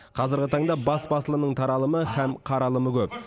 қазіргі таңда бас басылымның таралымы һәм қаралымы көп